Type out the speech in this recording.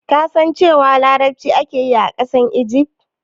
Ka san cewa larabci ake yi a ƙasar Igif?